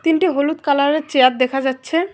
তিনটি হলুদ কালারের চেয়ার দেখা যাচ্ছে।